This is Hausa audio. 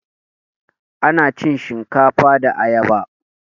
Ana cin shinkafa da ayaba